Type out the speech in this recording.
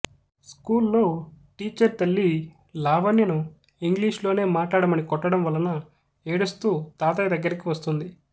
school లో teacher తల్లీ లావణ్యను ఇంగ్లీష్ లోనే మాట్లాడమని కొట్టడంవలన ఏడుస్తూ తాతయ్యదగ్గరికి వస్తుంది